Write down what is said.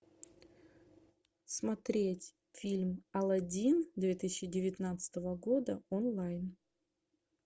смотреть фильм алладин две тысячи девятнадцатого года онлайн